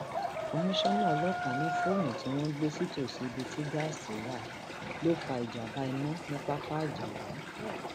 komisanna ọlọpàá ní fóònù tí wọn gbé sítòsí ibi tí gáàsì wà ló fa ìjàmbá iná ní pápá ajáò